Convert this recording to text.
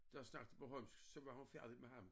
Der snakkede bornholmsk så var hun færdig med ham